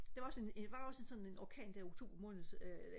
der var også en var også en sådan en orkan der i oktober måned øh